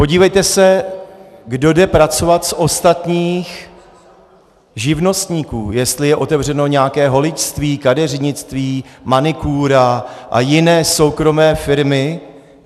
Podívejte se, kdo jde pracovat z ostatních živnostníků, jestli je otevřeno nějaké holičství, kadeřnictví, manikúra a jiné soukromé firmy.